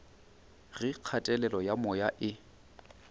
ge kgatelelo ya moya e